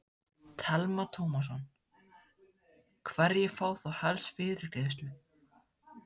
Telma Tómasson: Hverjir fá þá helst fyrirgreiðslu?